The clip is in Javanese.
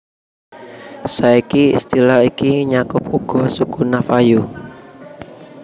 Saiki istilah iki nyakup uga suku Navajo